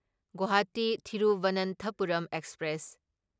Guwahati Thiruvananthapuram express